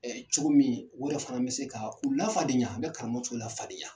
cogo min o yɛrɛ fana bɛ se ka u lafadenya a bɛ karamɔgɔ cɔw lafadenya.